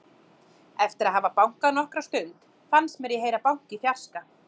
Eftir að hafa bankað nokkra stund fannst mér ég heyra bank í fjarska.